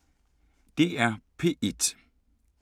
DR P1